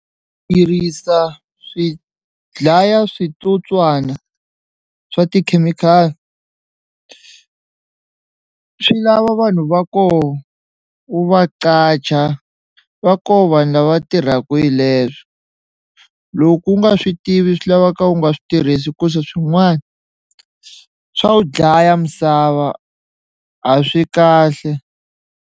swidlayaswitsotswana swa tikhemikhali swi lava vanhu va koho u va qacha va koho vanhu lava tirhaka hi leswo loku nga swi tivi swi lavaka u nga swi tirhisi hikusa swin'wana swa wu dlaya misava a swi kahle.